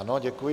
Ano, děkuji.